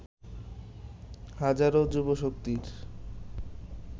হাজারো যুবশক্তির